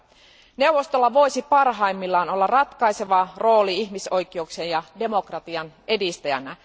Ihmisoikeusneuvostolla voisi parhaimmillaan olla ratkaiseva rooli ihmisoikeuksien ja demokratian edistäjänä.